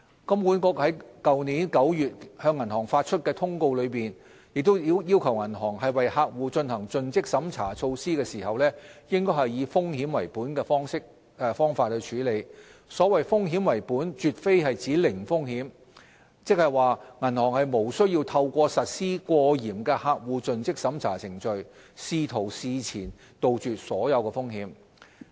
金管局於去年9月向銀行發出的通告中，亦要求銀行為客戶進行盡職審查措施時，應以"風險為本"的方法處理；所謂"風險為本"絕非指"零風險"，即是說銀行無需透過實施過嚴的客戶盡職審查程序，試圖事前杜絕所有風險。